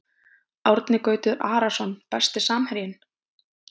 Árni Gautur Arason Besti samherjinn?